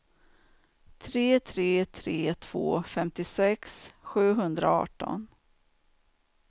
tre tre tre två femtiosex sjuhundraarton